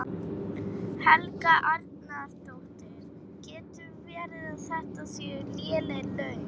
Helga Arnardóttir: Getur verið að þetta séu léleg laun?